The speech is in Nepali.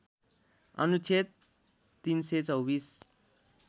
अनुच्छेद ३२४